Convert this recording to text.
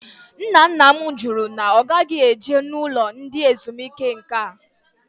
Ńnà ńnà m jụrụ na ogaghi eje n'ụlọ ndị ezumike nká